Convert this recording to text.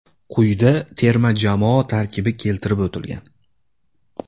Quyida terma jamoa tarkibi keltirib o‘tilgan.